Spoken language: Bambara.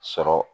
Sɔrɔ